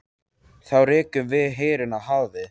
Þá rekum við herinn í hafið!